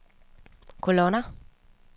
kolonner